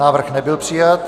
Návrh nebyl přijat.